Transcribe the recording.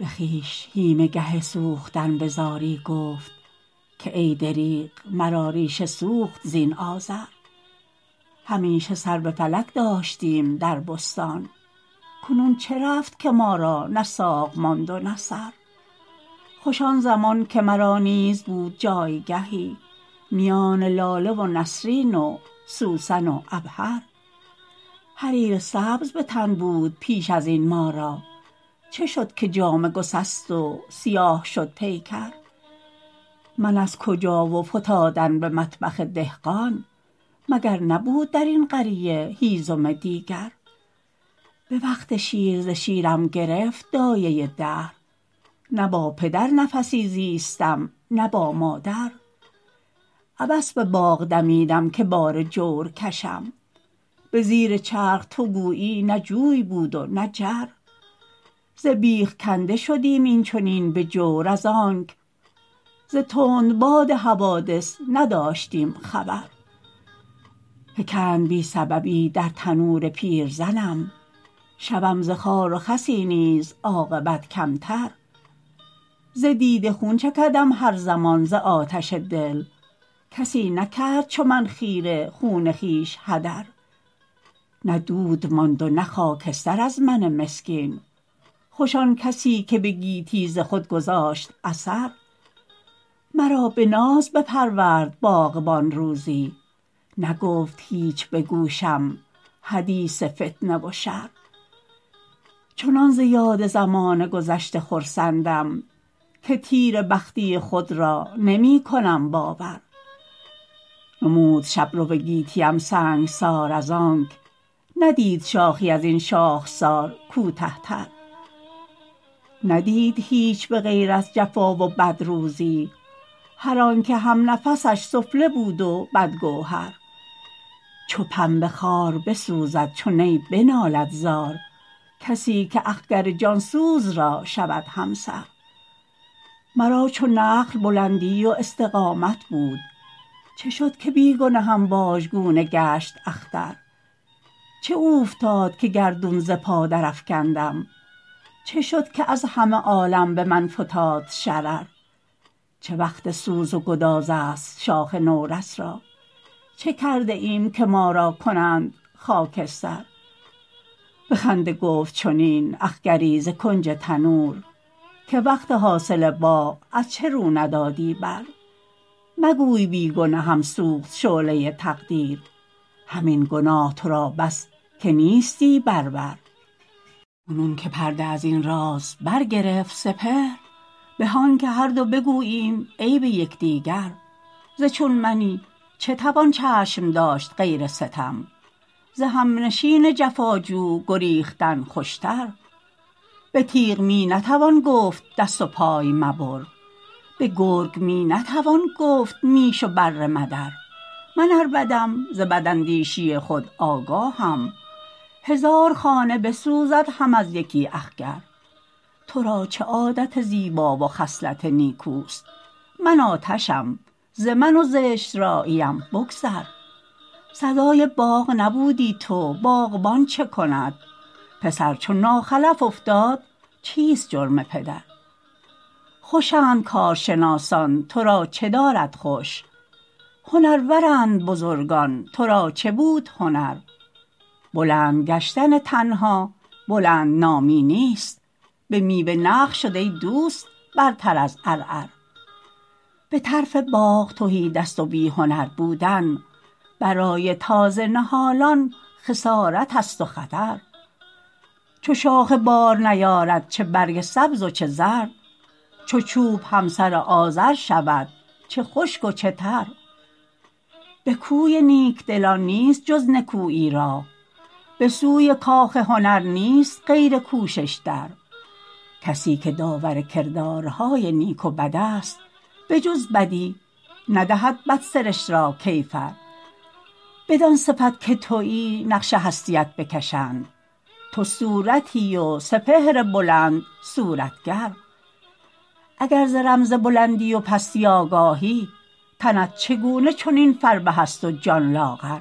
بخویش هیمه گه سوختن بزاری گفت که ای دریغ مرا ریشه سوخت زین آذر همیشه سر بفلک داشتیم در بستان کنون چه رفت که ما را نه ساق ماند و نه سر خوش آنزمان که مرا نیز بود جایگهی میان لاله ونسرین و سوسن و عبهر حریر سبز بتن بود پیش از این ما را چه شد که جامه گسست و سیاه شد پیکر من از کجا و فتادن بمطبخ دهقان مگر نبود در این قریه هیزم دیگر بوقت شیر ز شیرم گرفت دایه دهر نه با پدر نفسی زیستم نه با مادر عبث بباغ دمیدم که بار جور کشم بزیر چرخ تو گویی نه جوی بود و نه جر ز بیخ کنده شدیم این چنین بجور از آنک ز تندباد حوادث نداشتیم خبر فکند بی سببی در تنور پیرزنم شوم ز خار و خسی نیز عاقبت کمتر ز دیده خون چکدم هر زمان ز آتش دل کسی نکرد چو من خیره خون خویش هدر نه دود ماند و نه خاکستر از من مسکین خوش آنکسیکه بگیتی ز خود گذاشت اثر مرا بناز بپرورد باغبان روزی نگفت هیچ بگوشم حدیث فتنه و شر چنان ز یاد زمان گذشته خرسندم که تیره بختی خود را نیمکنم باور نمود شبرو گیتیم سنگسار از آنک ندید شاخی ازین شاخسار کوته تر ندید هیچ بغیر از جفا و بد روزی هر آنکه همنفسش سفله بود و بد گوهر چو پنبه خوار بسوزد چو نی بنالد زار کسیکه اخگر جانسوز را شود همسر مرا چو نخل بلندی و استقامت بود چه شد که بی گنهم واژگونه گشت اختر چه اوفتاد که گردون ز پا درافکندم چه شد که از همه عالم بمن فتاد شرر چه وقت سوز و گداز است شاخ نورس را چه کرده ایم که ما را کنند خاکستر بخنده گفت چنین اخگری ز کنج تنور که وقت حاصل باغ از چه رو ندادی بر مگوی بی گنهم سوخت شعله تقدیر همین گناه تو را بس که نیستی بر ور کنون که پرده از این راز برگرفت سپهر به آنکه هر دو بگوییم عیب یکدیگر ز چون منی چه توان چشم داشت غیر ستم ز همنشین جفا جو گریختن خوشتر به تیغ می نتوان گفت دست و پای مبر بگرگ می نتوان گفت میش و بره مدر من ار بدم ز بداندیشی خود آگاهم هزار خانه بسوزد هم از یکی اخگر ترا چه عادت زیبا و خصلت نیکوست من آتشم ز من و زشت راییم بگذر سزای باغ نبودی تو باغبان چه کند پسر چو ناخلف افتاد چیست جرم پدر خوشند کارشناسان ترا چه دارد خوش هنرورند بزرگان ترا چه بود هنر بلند گشتن تنها بلندنامی نیست بمیوه نخل شد ای دوست برتر از عرعر بطرف باغ تهی دست و بی هنر بودن برای تازه نهالان خسارتست و خطر چو شاخه بار نیارد چه برگ سبز و چه زرد چو چوب همسر آذر شود چه خشک و چه تر بکوی نیکدلان نیست جز نکویی راه بسوی کاخ هنر نیست غیر کوشش در کسیکه داور کردارهای نیک و بد است بجز بدی ندهد بدسرشت را کیفر بدان صفت که تویی نقش هستیت بکشند تو صورتی و سپهر بلند صورتگر اگر ز رمز بلندی و پستی آگاهی تنت چگونه چنین فربه است و جان لاغر